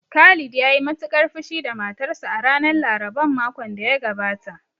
Khalid ya yi matuƙar fushi da matarsa a ranar laraban makon da ya gabata